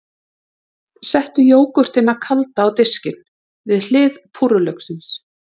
Settu jógúrtina kalda á diskinn, við hlið púrrulauksins.